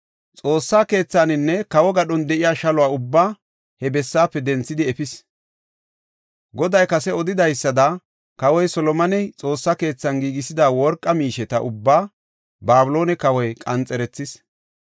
Xoossa keethaanne kawo gadhon de7iya shaluwa ubbaa he bessaafe denthidi efis. Goday kase odidaysada kawoy Solomoney Xoossa keethan giigisida worqa miisheta ubbaa Babiloone kawoy qanxerethis.